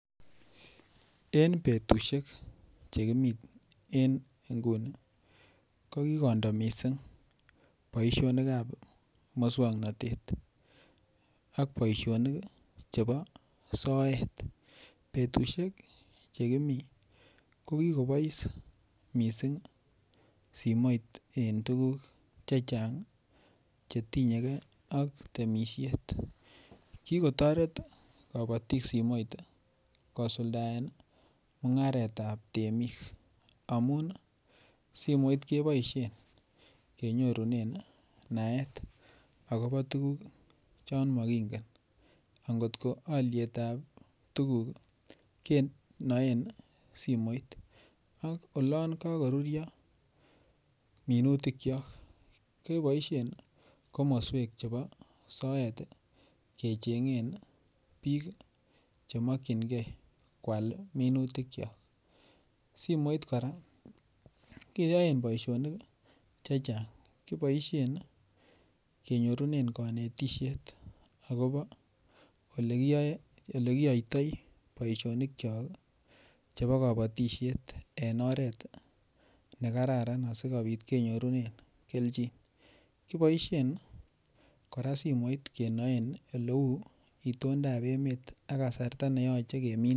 En betusiek Che kimi en nguni ko kikondo mising boisionik ab moswoknatet ak boisionik chebo soet betusiek Che kimi kokikobois mising simoit en tuguk Che Chang Che tinye ge ak temisiet ki kotoret kabatik simoit kosuldaen mungaret ab temik amun simoit keboisien kenyorunen naet agobo tuguk chon mokingen angot ko alyet ab tuguk kenoen simoit ak olon kagoruryo minutikyok keboisien komoswek chebo soet kechengen bik Che mokyingei koal minutikyok simoit kora keyoen boisionik Che Chang kiboisien kenyorunen kanetisiet agobo Ole kiyoiti boisionik kyok chebo kabatisiet en oret ne kararan asikobit kenyorunen kelchin kiboisien simoit kora kenoen oleu itondap emet ak kasarta ne yoche keminsen